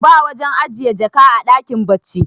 ba wajen ajiye jaka a dakin bacci